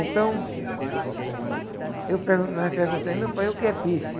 Então, eu per, nós perguntamos, meu pai, o que é pife?